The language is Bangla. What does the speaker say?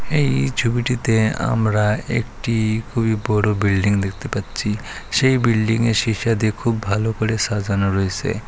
এই ছবিটিতে আমরা একটি খুবই বড় বিল্ডিং দেখতে পাচ্ছি সেই বিল্ডিং -এর শিসা দিয়ে খুব ভালো করে সাজানো রইছে ।